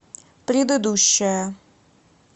предыдущая